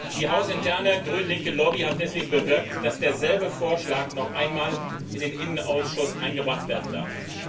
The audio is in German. Die hausinterne grün linke Lobby hat deswegen bewirkt, dass derselbe Vorschlag noch einmal in den Innenausschuss eingebracht werden darf.